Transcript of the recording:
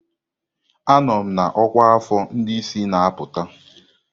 Anọ m na ọkwa afọ ndị isi na-apụta.